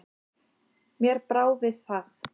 Mér brá við það.